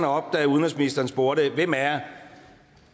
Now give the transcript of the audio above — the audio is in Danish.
op da udenrigsministeren spurgte hvem af jer